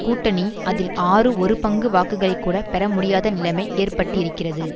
கூட்டணி அதில் ஆறு ஒரு பங்கு வாக்குகளைக்கூட பெறமுடியாத நிலைமை ஏற்பட்டிருக்கிறது